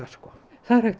það er hægt að